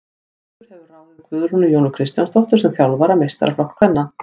Þróttur hefur ráðið Guðrúnu Jónu Kristjánsdóttur sem þjálfara meistaraflokks kvenna.